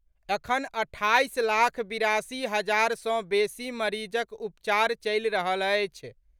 अखन अट्ठाईस लाख बिरासी हजार सँ बेसी मरीजक उपचर चलि रहल अछि।